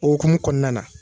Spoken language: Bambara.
O hukumu kɔnɔna na.